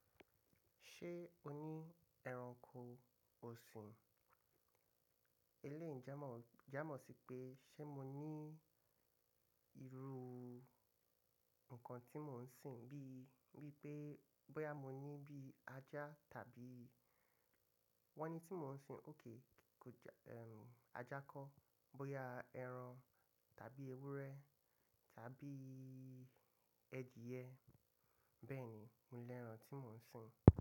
Ṣé o ní ẹranko òsìn? Eléèyi jámọ̀, jámọ̀ sí pé ṣé mo ní ìrù nǹkan tí mò ń sìn bí, bí pé bóyá mo ní bí ajá tàbí wọ́n ní tí mò ń sìn òkè kò jẹ́ ẹm ajá kọ́, bóyá ẹran tàbí ewúrẹ́ tàbí ẹdíyẹ. Bẹ́ẹ̀ ni, mo ní ẹran tí mò ń sìn.